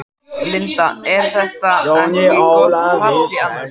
Linda: Er þetta gott partý annars?